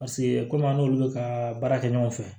Paseke komi an n'olu bɛ ka baara kɛ ɲɔgɔn fɛ